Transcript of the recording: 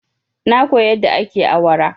Na koya yadda ake awara.